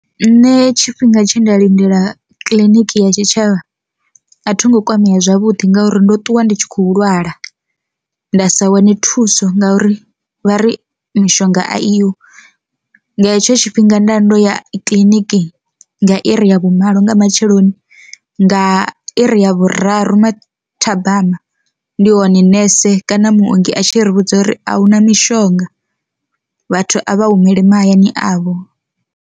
Nṋe tshifhinga tshe nda lindela kiḽiniki ya tshitshavha a thi ngo kwamea zwavhuḓi ngauri ndo ṱuwa ndi tshi khou lwala nda sa wane thuso ngauri vha ri mishonga a i ho, nga hetsho tshifhinga nda ndo ya kiḽiniki nga iri ya vhumalo nga matsheloni nga iri ya vhuraru mathabama ndi hone nese kana muongi a tshi ri vhudza uri ahuna mishonga vhathu a vha humele mahayani avho.